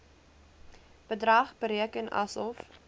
bedrag bereken asof